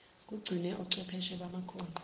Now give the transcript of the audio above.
kugcinwe ochwepheshe bamakhono